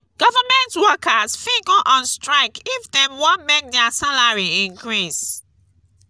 government workers fit go on strike if dem won make their salary increase